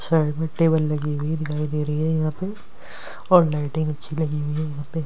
Side में table लगी हुई है दिखाई दे रही है यहाँ पे और लाइटिंग अच्छी लगी हुई है यहाँ पे।